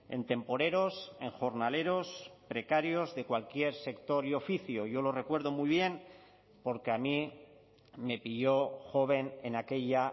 en temporeros en jornaleros precarios de cualquier sector y oficio yo lo recuerdo muy bien porque a mí me pilló joven en aquella